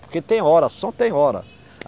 Porque tem hora, só tem hora.